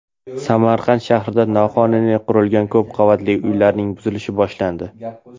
Samarqand shahrida noqonuniy qurilgan ko‘p qavatli uylarning buzilishi boshlandi.